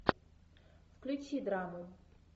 включи драму